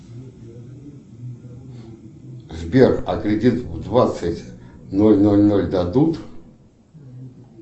сбер а кредит в двадцать ноль ноль ноль дадут